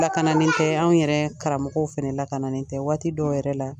Lakananen tɛ an yɛrɛ karamɔgɔw fɛnɛ lakananen tɛ waati dɔw yɛrɛ la